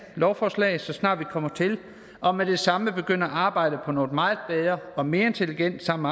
lovforslag så snart vi kommer til og med det samme begynde at arbejde på noget meget bedre og mere intelligent sammen